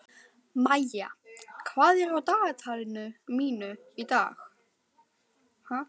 Maía, hvað er á dagatalinu mínu í dag?